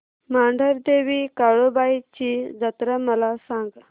मांढरदेवी काळुबाई ची जत्रा मला सांग